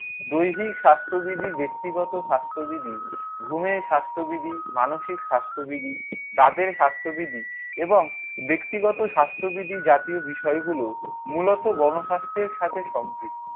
দৈহিক স্বাস্থ্যবিধি, ব্যক্তিগত স্বাস্থ্যবিধি, ঘুমের স্বাস্থ্যবিধি, মানসিক স্বাস্থ্যবিধি, দাঁতের স্বাস্থ্যবিধি এবং ব্যক্তিগত স্বাস্থ্যবিধির জাতীয় বিষয়গুলো মূলত গণস্বাস্থ্যের সাথে সম্পৃক্ত।